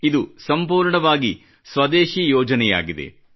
ಇದು ಸಂಪೂರ್ಣವಾಗಿ ಸ್ವದೇಶಿ ಯೋಜನೆಯಾಗಿದೆ